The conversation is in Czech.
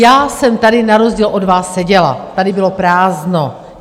Já jsem tady na rozdíl od vás seděla, tady bylo prázdno.